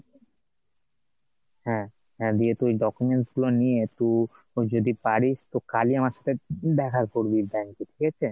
হ্যাঁ, হ্যাঁ দিয়ে তুই documents গুলো নিয়ে তু যদি পারিস, তো কালই আমার সাথে দেখা করবি bank এ ঠিক আছে,